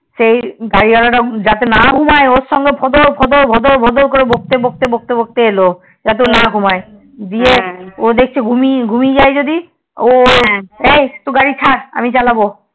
সেই গাড়ি ওয়ালা তা যাতে না ঘুমাই ওর সাথে ফটোর ফটোর করে বকতে বকতে এলো যাতে না ঘুমোয় ও দেখছে ঘুমিয়ে যাই যদি ও বলছি গাড়ি ছাড় আমি চালাবো